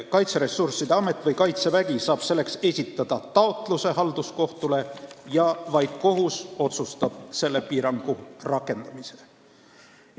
Kaitseressursside Amet või Kaitsevägi saab esitada taotluse halduskohtule ja vaid kohus saab teha otsuse selle piirangu rakendamise kohta.